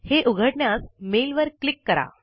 हे उघडण्यास मेल वर क्लिक करा